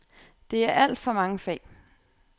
Det er alt for mange fag.